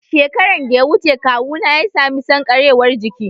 Shekaran da ya wuce kawuna ya sami sankarewar jiki